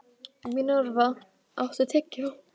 Mínerva, áttu tyggjó?